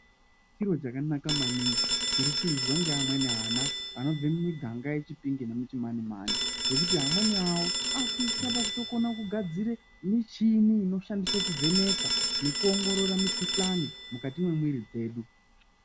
Chiro chakanaka maningi zviri kuizwe nevamwe vana vanobva muminganga yemuChipinge nemuChimanimani ngekuti amweni awo akuto svika pakukona kugadzire michini inoshandiswe kuvheneka nekuongorora mukuhlani mukati mwemwiri dzedu .